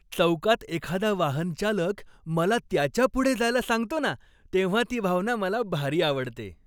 चौकात एखादा वाहनचालक मला त्याच्या पुढे जायला सांगतो ना, तेव्हा ती भावना मला भारी आवडते.